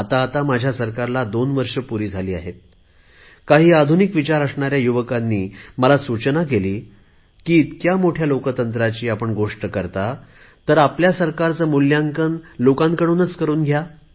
आता माझ्या सरकारला 2 वर्षे पूरी झाली आहेत काही आधुनिक विचार असणाऱ्या युवकांनी मला सूचना केली की इतक्या मोठ्या लोकशाहीबद्दल आपण गोष्ट करता तर आपल्या सरकारचे मुल्यांकन लोकांकडूनच करुन घ्या